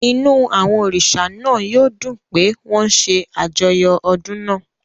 Inú àwọn òrìṣà náà yóò dùn pé wọ́n ń ṣe àjọyọ̀ odun náà.